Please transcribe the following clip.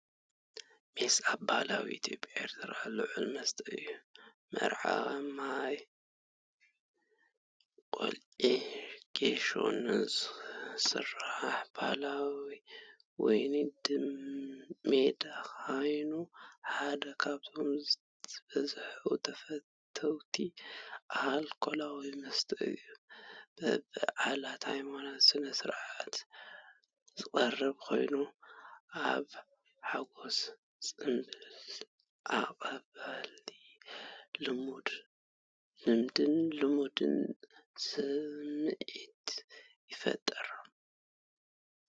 ሜስ ኣብ ባህሊ ኢትዮጵያን ኤርትራን ልዑል መስተ እዩ። መዓር፡ ማይን ቆጽሊ ጌሾን ዝስራሕ ባህላዊ ወይኒ ሚድ ኮይኑ፡ ሓደ ካብቶም ዝበዝሑ ተፈተውቲ ኣልኮላዊ መስተታት እዩ። ብበዓላትን ሃይማኖታዊ ስነ-ስርዓትን ዝቐርብ ኮይኑ፡ናይ ሓጎስን ፅምብልኣቀባብላን ልምድን ልምድን ስምዒት ይፈጥር።